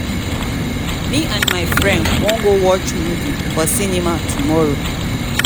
me and my friend wan go watch movie for cinema tomorrow